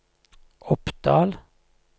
Oppdal